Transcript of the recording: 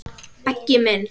Beggi minn.